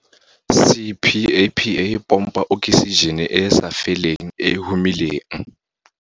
CPAPA e pompa oksijene e e sa feleng e e humileng.